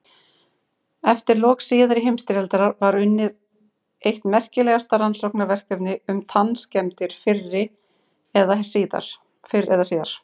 Eftir lok síðari heimsstyrjaldar var unnið eitt merkilegasta rannsóknarverkefni um tannskemmdir fyrr eða síðar.